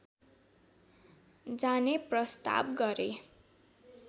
जाने प्रस्ताव गरे